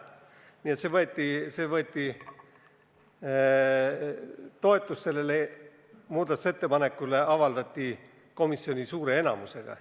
Nii et toetust sellele avaldati komisjoni suure enamusega.